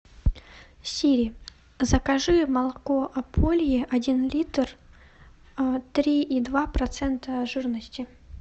сири закажи молоко ополье один литр три и два процента жирности